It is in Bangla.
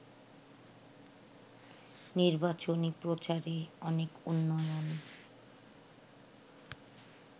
নির্বাচনী প্রচারে অনেক উন্নয়ন